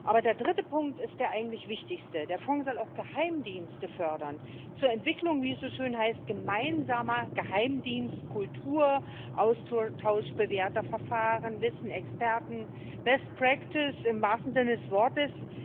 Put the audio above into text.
Aber der dritte Punkt ist der eigentlich wichtigste Der Fonds soll auch Geheimdienste fördern, zur Entwicklung wie es so schön heißt gemeinsamer Geheimdienstkultur, Austausch bewährter Verfahren, Wissen, Experten, im wahrsten Sinne des Wortes.